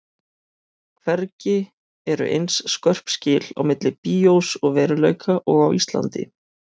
Hvergi eru eins skörp skil á milli bíós og veruleika og á Íslandi.